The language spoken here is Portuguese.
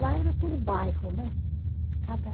Lá era por bairro, né? Cada